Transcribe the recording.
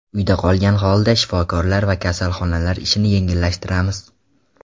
Uyda qolgan holda shifokorlar va kasalxonalar ishini yengillashtiramiz.